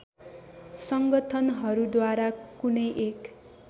संगठनहरूद्वारा कुनै एक